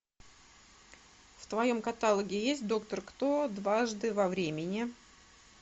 в твоем каталоге есть доктор кто дважды во времени